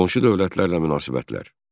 Qonşu dövlətlərlə münasibətlər.